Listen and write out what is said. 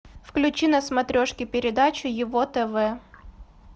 включи на смотрешке передачу его тв